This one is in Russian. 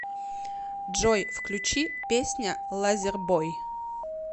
джой включи песня лазербой